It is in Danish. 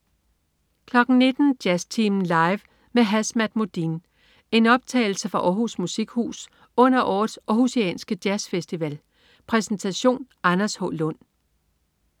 19.00 Jazztimen Live med Hazmat Modine. En optagelse fra Århus Musikhus under årets århusianske jazzfestival. Præsentation: Anders H. Lund